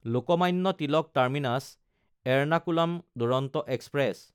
Lokmanya Tilak টাৰ্মিনাছ–এৰনাকুলাম Duronto express